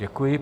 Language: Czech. Děkuji.